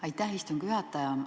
Aitäh, istungi juhataja!